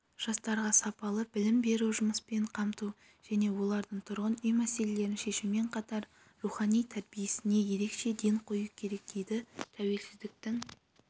жастарға сапалы білім беру жұмыспен қамту және олардың тұрғын үй мәселелерін шешумен қатар рухани тәрбиесіне ерекше ден қою керек дейді тәуелсіздіктің